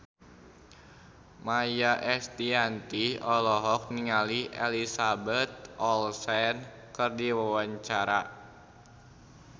Maia Estianty olohok ningali Elizabeth Olsen keur diwawancara